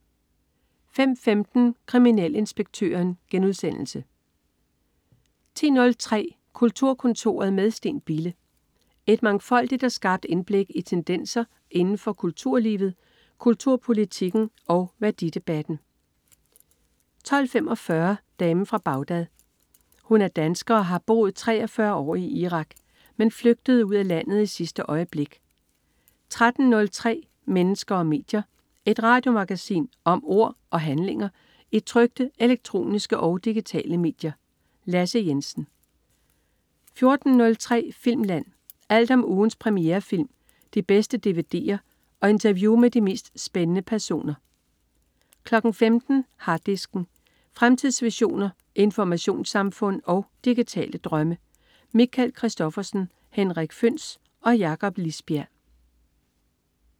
05.15 Kriminalinspektøren* 10.03 Kulturkontoret med Steen Bille. Et mangfoldigt og skarpt indblik i tendenser inden for kulturlivet, kulturpolitikken og værdidebatten 12.45 Damen fra Bagdad. Hun er dansker og har boet 43 år i Irak, men flygtede ud af landet i sidste øjeblik 13.03 Mennesker og medier. Et radiomagasin om ord og handlinger i trykte, elektroniske og digitale medier. Lasse Jensen 14.03 Filmland. Alt om ugens premierefilm, de bedste dvd'er og interview med de mest spændende personer 15.00 Harddisken. Fremtidsvisioner, informationssamfund og digitale drømme. Michael Christophersen, Henrik Føhns og Jakob Lisbjerg